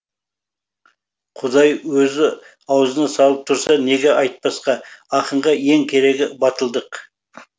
құдай өзі ауызына салып тұрса неге айтпасқа ақынға ең керегі батылдық